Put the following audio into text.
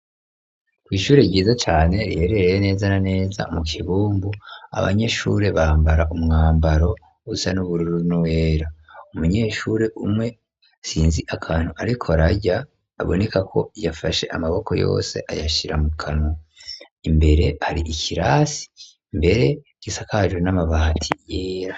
Kw'ishure ryiza cane riherereye neza na neza mu Kibumbu ,abanyeshure bambara umwambaro usa n'ubururu n'uwera. Umunyeshure umwe sinzi akantu ariko ararya, aboneka ko yafashe amaboko yose ayashira mu kanwa. Imbere hari ikirasi mbere gisakajwe n'amabati yera.